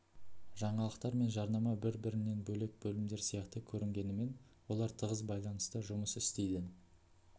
жаңалықтар мен жарнама бір бірінен бөлек бөлімдер сияқты көрінгенімен олар тығыз байланыста жұмыс істейді